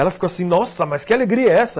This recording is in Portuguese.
Ela ficou assim, nossa, mas que alegria é essa?